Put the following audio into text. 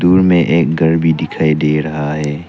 दूर में एक घर भी दिखाई दे रहा है।